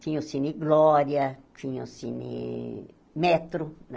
Tinha o Cine Glória, tinha o Cine Metro.